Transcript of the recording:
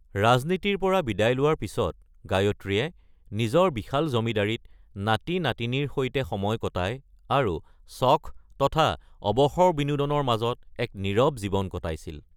ৰাজনীতিৰ পৰা বিদায় লোৱাৰ পিছত গায়ত্ৰীয়ে নিজৰ বিশাল জমিদাৰিত নাতি-নাতিনীৰ সৈতে সময় কটাই আৰু চখ তথা অবসৰ-বিনোদনৰ মাজত এক নীৰৱ জীৱন কটাইছিল।